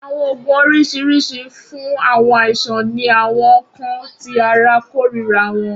Awọn oogun oriṣiriṣi fun awọn aisan ni awọn nkan ti ara korira wọn.